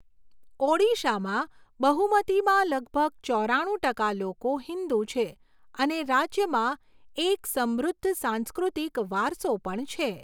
ઓડિશામાં બહુમતીમાં લગભગ ચોરાણું ટકા લોકો હિંદુ છે અને રાજ્યમાં એક સમૃદ્ધ સાંસ્કૃતિક વારસો પણ છે.